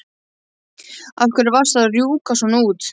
Af hverju varstu að rjúka svona út?